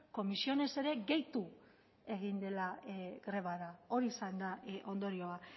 comisiones ere gehitu egin dela grebara hori izan da ondorioa